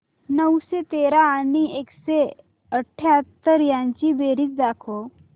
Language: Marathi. नऊशे तेरा आणि एकशे अठयाहत्तर यांची बेरीज दाखव